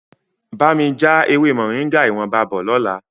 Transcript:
Bá mi já ewé Moringa ìwọ̀nba bọ̀ lọ́la.